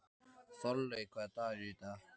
Þorlaug, hvaða dagur er í dag?